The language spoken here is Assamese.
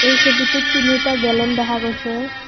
এই ছবিটোত তিনিওটা গেলন দেখা গৈছে।